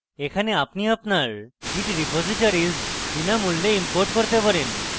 এখানে আপনি আপনার git repositories বিনামূল্যে import করতে পারেন